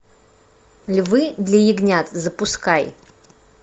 львы для ягнят запускай